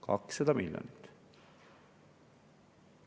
200 miljonit!